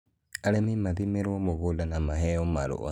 Arĩmi mathimirwo mũgũnda na maheo marũa